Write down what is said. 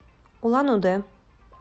улан удэ